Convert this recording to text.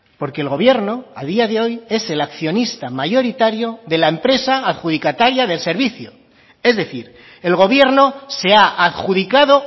porque el gobierno a día de hoy es el accionista mayoritario de la empresa adjudicataria del servicio es decir el gobierno se ha adjudicado